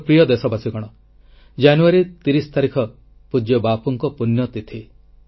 ମୋର ପ୍ରିୟ ଦେଶବାସୀଗଣ ଜାନୁୟାରୀ 30 ତାରିଖ ପୂଜ୍ୟ ବାପୁଙ୍କ ପୁଣ୍ୟ ତିଥି